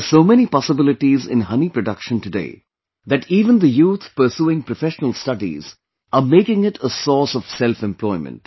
There are so many possibilities in honey production today that even the youth pursuing professional studies are making it a source of selfemployment